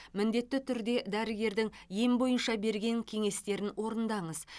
міндетті түрде дәрігердің ем бойынша берген кеңестерін орындаңыз